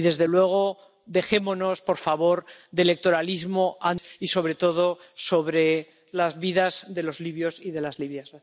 Y desde luego, dejémonos, por favor, de electoralismo y sobre todo sobre las vidas de los libios y de las libias.